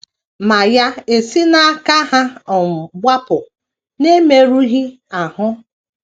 Ma ya esi n’aka ha um gbapụ n’emerụghị ahụ.